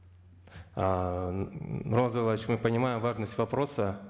ыыы нурлан зайроллаевич мы понимаем важность вопроса